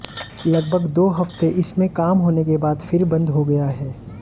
लगभग दो हफ्ते इस में काम होने के बाद फिर बंद हो गया है